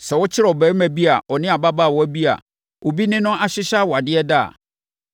Sɛ wɔkyere ɔbarima bi a ɔne ababaawa bi a obi ne no nhyehyɛeɛ awadeɛ ada a,